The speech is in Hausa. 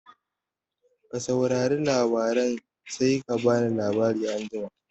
Ka saurare labaran sai ka bani labari anjima